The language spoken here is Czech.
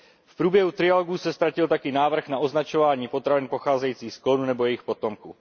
V průběhu trialogu se ztratil taky návrh na označování potravin pocházejících z klonů nebo jejich potomků.